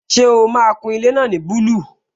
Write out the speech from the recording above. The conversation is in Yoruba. Ṣé o máa kun ilé náà ní búlù?